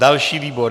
Další výbor.